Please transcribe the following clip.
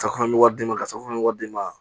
Safunɛ wari d'i ma safunɛ bɛ wari di ma